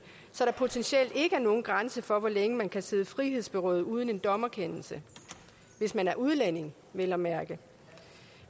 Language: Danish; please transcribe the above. så der potentielt ikke er nogen grænse for hvor længe man kan sidde frihedsberøvet uden en dommerkendelse hvis man er udlænding vel at mærke